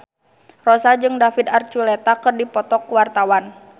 Rossa jeung David Archuletta keur dipoto ku wartawan